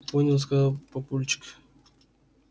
понял сказал папульчик